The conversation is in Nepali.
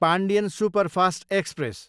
Pandian superfast express